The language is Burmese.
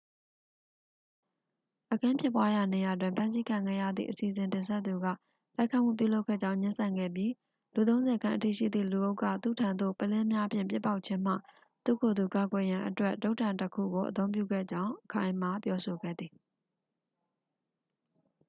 အခင်းဖြစ်ပွားရာနေရာတွင် ဖမ်းဆီးခံခဲ့ရသည့် အစီအစဉ်တင်ဆက်သူက တိုက်ခိုက်မှုပြုလုပ်ခဲ့ကြောင်း ငြင်းဆန်ခဲ့ပြီး လူသုံးဆယ်ခန့်အထိရှိသည့်လူအုပ်က သူ့ထံသို့ ပုလင်းများဖြင့် ပစ်ပေါက်ခြင်းမှ သူ့ကိုယ်သူ ကာကွယ်ရန်အတွက် တုတ်တံတစ်ခုကို အသုံးပြုခဲ့ကြောင်း အခိုင်အမာပြောဆိုခဲ့သည်